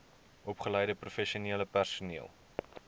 opgeleide professionele personeel